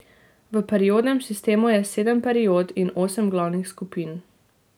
V periodnem sistemu je sedem period in osem glavnih skupin.